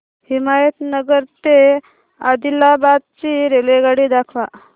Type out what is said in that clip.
हिमायतनगर ते आदिलाबाद ची रेल्वेगाडी दाखवा